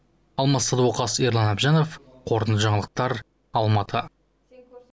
алмас садуақас ерлан әбжанов қорытынды жаңалықтар алматы